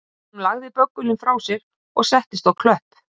Hún lagði böggulinn frá sér og settist á klöpp